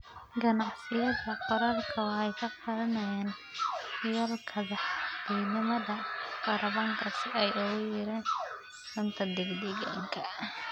Ganacsiyada qaarkood waxay qaadanayaan yoolalka dhexdhexaadnimada kaarboonka si ay u yareeyaan saameyntooda deegaanka.